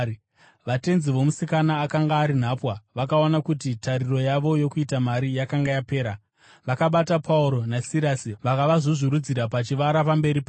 Vatenzi vomusikana akanga ari nhapwa vakaona kuti tariro yavo yokuita mari yakanga yapera, vakabata Pauro naSirasi vakavazvuzvurudzira pachivara pamberi pavo.